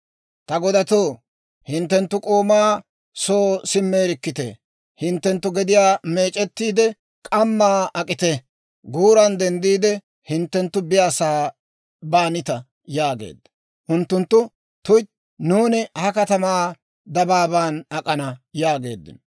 «Ta godatoo, hinttenttu k'oomaa soo simmeerikkitee; hinttenttu gediyaa meec'ettiide k'ammaa ak'ite; guuran denddiide hinttenttu biyaasa'aa baanita» yaageedda. Unttunttu, «Tuytti; nuuni ha katamaa dabaabaan ak'ana» yaageeddino.